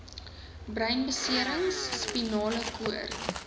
breinbeserings spinale koord